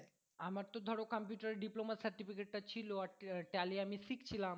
আমার তো ধরো computer এ diploma certificate টা ছিল আর tally আমি শিখছিলাম